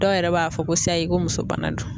Dɔw yɛrɛ b'a fɔ ko sayi ,ko muso bana don.